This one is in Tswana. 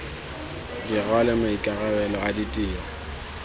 di rwale maikarabelo a ditiro